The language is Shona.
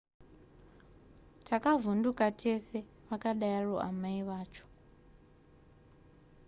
takavhunduka tese vakadaro amai vacho